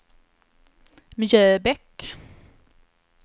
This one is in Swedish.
Mjöbäck